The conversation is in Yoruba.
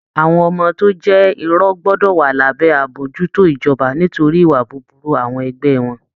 Àwọn ọmọ tó jẹ́ irọ̀ gbọ́dọ̀ wà lábẹ́ àmójútó ijoba nítorí ìwà búburú àwọn ẹgbẹ́ wọn